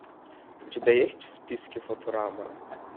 у тебя есть в списке футурама